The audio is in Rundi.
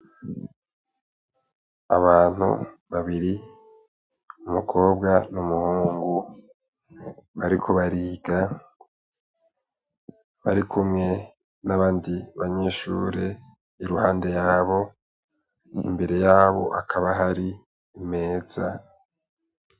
Abantu babiri umukobwa n'umuhungu bariko bariga barikumwe nabandi banyeshure iruhande yabo imbere yabo hakaba hari imeza.